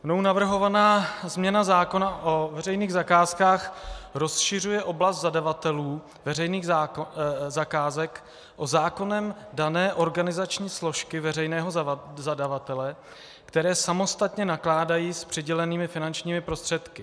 Mnou navrhovaná změna zákona o veřejných zakázkách rozšiřuje oblast zadavatelů veřejných zakázek o zákonem dané organizační složky veřejného zadavatele, které samostatně nakládají s přidělenými finančními prostředky.